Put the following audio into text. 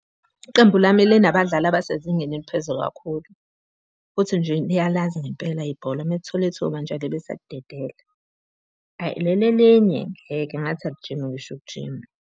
Iqembu lami linabadlali abasezingeni eliphezulu kakhulu, futhi nje liyalazi ngempela ibhola, uma lithola ithuba ababe besalidedela. Hhayi leli elinye, ngathi alijimi ngisho ukujima.